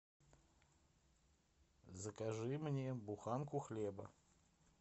закажи мне буханку хлеба